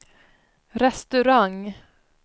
restaurang